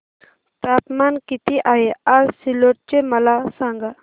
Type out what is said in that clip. तापमान किती आहे आज सिल्लोड चे मला सांगा